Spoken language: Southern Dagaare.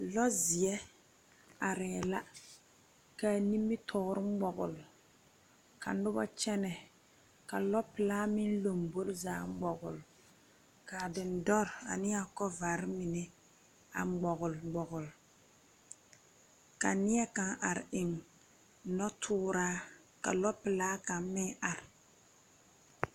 Lɔɛ zie arẽ la ka a nimitoore mgɔgle ka nuba kyene ka loɔ pɛlaa meng lɔmbori zaa mgɔgle ka a dindori ane a kovari mene a mgɔgle mgɔgle ka nie kang arẽ eng nɔtouraa ka loɔ pelaa kang meng a arẽ.